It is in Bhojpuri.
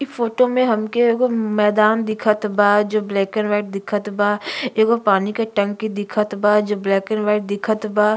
इ फोटो में हमके एगो मैदान दिखत बा जो ब्लैक एंड व्हाइट दिखत बा। एगो पानी के टंकी दिखत बा जो ब्लैक एंड व्हाइट दिखत बा।